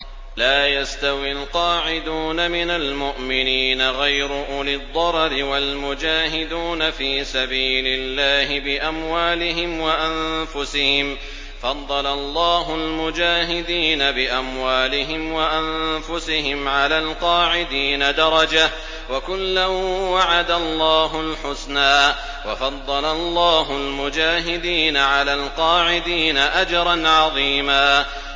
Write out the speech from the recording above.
لَّا يَسْتَوِي الْقَاعِدُونَ مِنَ الْمُؤْمِنِينَ غَيْرُ أُولِي الضَّرَرِ وَالْمُجَاهِدُونَ فِي سَبِيلِ اللَّهِ بِأَمْوَالِهِمْ وَأَنفُسِهِمْ ۚ فَضَّلَ اللَّهُ الْمُجَاهِدِينَ بِأَمْوَالِهِمْ وَأَنفُسِهِمْ عَلَى الْقَاعِدِينَ دَرَجَةً ۚ وَكُلًّا وَعَدَ اللَّهُ الْحُسْنَىٰ ۚ وَفَضَّلَ اللَّهُ الْمُجَاهِدِينَ عَلَى الْقَاعِدِينَ أَجْرًا عَظِيمًا